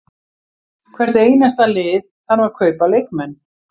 Hvert einasta lið þarf að kaupa leikmenn.